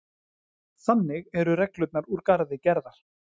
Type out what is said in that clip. Þannig eru reglurnar úr garði gerðar